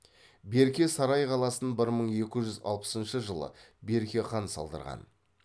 берке сарай қаласын бір мың екі жүз алпысыншы жылы берке хан салдырған